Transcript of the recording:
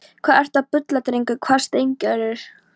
Hvað ertu að bulla drengur? hváði Steingerður.